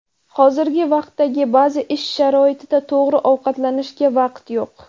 Hozirgi vaqtdagi ba’zi ish sharoitida to‘g‘ri ovqatlanishga vaqt yo‘q.